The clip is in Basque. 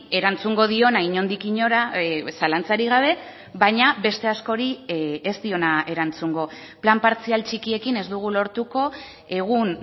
erantzungo diona inondik inora zalantzarik gabe baina beste askori ez diona erantzungo plan partzial txikiekin ez dugu lortuko egun